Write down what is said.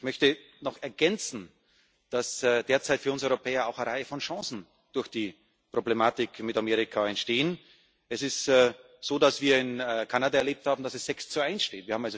Ich möchte noch ergänzen, dass derzeit für uns Europäer durch die Problematik mit Amerika auch eine Reihe von Chancen entstehen. Es ist so, dass wir in Kanada erlebt haben, dass es sechs zu eins steht.